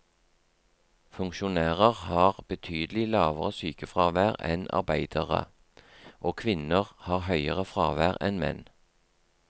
Funksjonærer har betydelig lavere sykefravær enn arbeidere, og kvinner har høyere fravær enn menn.